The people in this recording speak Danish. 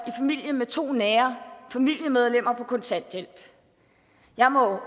i familien med to nære familiemedlemmer på kontanthjælp jeg må